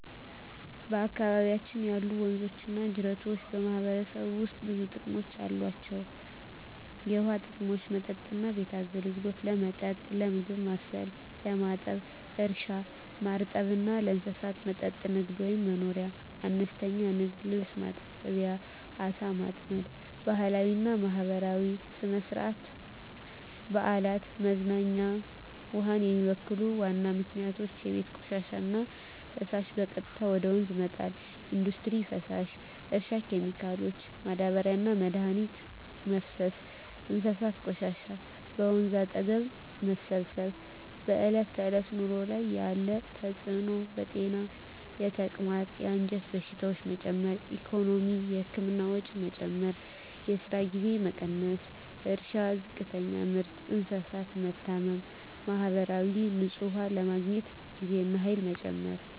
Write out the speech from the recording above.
በአካባቢያችን ያሉ ወንዞችና ጅረቶች በማህበረሰቡ ውስጥ ብዙ ጥቅሞች አላቸው፣ የውሃ ጥቅሞች መጠጥና ቤት አገልግሎት – ለመጠጥ፣ ለምግብ ማብሰል፣ ለማጠብ እርሻ – ማርጠብ እና ለእንስሳት መጠጥ ንግድ/መኖርያ – አነስተኛ ንግድ (ልብስ ማጠብ፣ ዓሣ ማጥመድ) ባህላዊና ማህበራዊ – ሥነ-ሥርዓት፣ በዓላት፣ መዝናኛ ውሃን የሚበክሉ ዋና ምክንያቶች የቤት ቆሻሻና ፍሳሽ – በቀጥታ ወደ ወንዝ መጣል ኢንዱስትሪ ፍሳሽ – እርሻ ኬሚካሎች – ማዳበሪያና መድኃኒት መፍሰስ እንስሳት ቆሻሻ – በወንዝ አጠገብ መሰብሰብ በዕለት ተዕለት ኑሮ ላይ ያለ ተጽዕኖ ጤና – የተቅማጥ፣ የአንጀት በሽታዎች መጨመር ኢኮኖሚ – የህክምና ወጪ መጨመር፣ የስራ ጊዜ መቀነስ እርሻ – ዝቅተኛ ምርት፣ እንስሳት መታመም ማህበራዊ – ንጹህ ውሃ ለማግኘት ጊዜና ኃይል መጨመር